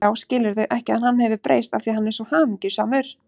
Já, skilurðu ekki að hann hefur breyst af því að hann er svo hamingjusamur.